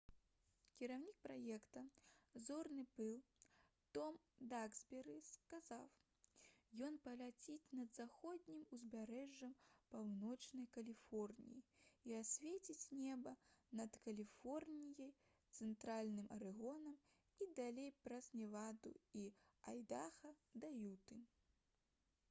кіраўнік праекта «зорны пыл» том даксберы сказаў: «ён праляціць над заходнім узбярэжжам паўночнай каліфорніі і асвеціць неба над каліфорніяй цэнтральным арэгонам і далей праз неваду і айдаха да юты»